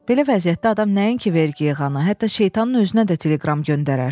Belə vəziyyətdə adam nəinki vergi yığana, hətta şeytanın özünə də teleqram göndərər.